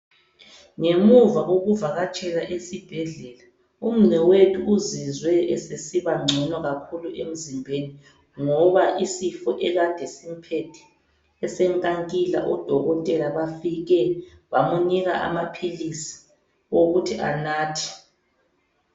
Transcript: Ngemuva kokuvakatshela esibhedlela, umnewethu uzizwe esesibangcono kakhulu emzimbeni ngoba isifo ekade simphethe esenkankila oDokotela bafike bamunika amaphilisi okuthi anathe.